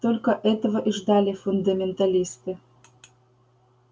только этого и ждали фундаменталисты